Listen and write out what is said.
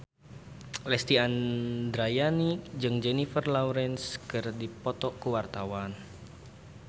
Lesti Andryani jeung Jennifer Lawrence keur dipoto ku wartawan